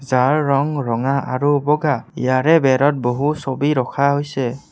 যাৰ ৰং ৰঙা আৰু বগা ইয়াৰে বেৰত বহু ছবি ৰখা হৈছে।